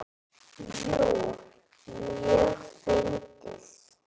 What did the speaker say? Jú, mjög fyndið.